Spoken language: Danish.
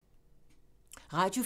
Radio 4